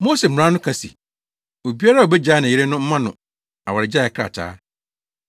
“Mose mmara no ka se, ‘Obiara a obegyaa ne yere no mma no awaregyae krataa.’